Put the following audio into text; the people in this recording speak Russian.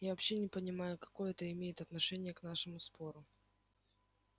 я вообще не понимаю какое это имеет отношение к нашему спору